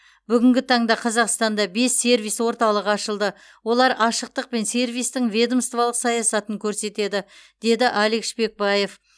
бүгінгі таңда қазақстанда бес сервис орталығы ашылды олар ашықтық пен сервистің ведомстволық саясатын көрсетеді деді алик шпекбаев